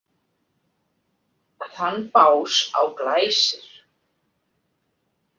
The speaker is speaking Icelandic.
Þann bás á Glæsir.